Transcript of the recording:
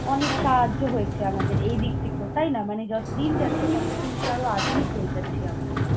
অনেক সাহায্য হয়েছে আমাদের এই দিক থেকেও, তাই না মনিরা? মানে যতদিন যাচ্ছে তত কিন্তু আরো আধুনিক হয়ে যাচ্ছি আমরা।